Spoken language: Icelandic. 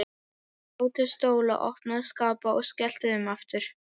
Dró til stóla, opnaði skápa og skellti þeim aftur.